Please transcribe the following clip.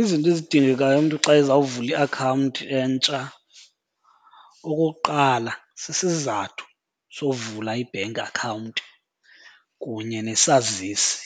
Izinto ezidingekayo umntu xa ezawuvula iakhawunti entsha, okokuqala sisizathu sovula i-bank account kunye nesazisi.